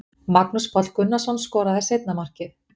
Magnús Páll Gunnarsson skoraði seinna markið.